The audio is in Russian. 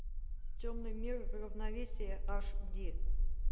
темный мир равновесие аш ди